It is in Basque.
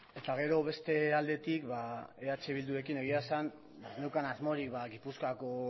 eta gero beste aldetik ba eh bildurekin egia esan ez neukan asmorik ba gipuzkoako